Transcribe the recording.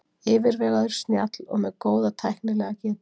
Yfirvegaður, snjall og með góða tæknilega getu.